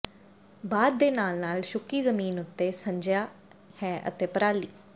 ਬਾਦ ਦੇ ਨਾਲ ਨਾਲ ਸੁੱਕੀ ਜ਼ਮੀਨ ਉੱਤੇ ਸਿੰਜਿਆ ਹੈ ਅਤੇ ਪਰਾਲੀ